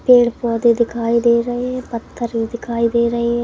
पेड़ पौधे दिखाई दे रहे हैं पत्थर भी दिखाई दे रहे हैं।